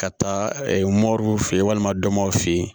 Ka taa moruw fe yen walima dɔmaaw fe yen